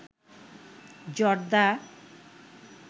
জর্দা